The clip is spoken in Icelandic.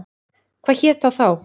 Hvað hét það þá?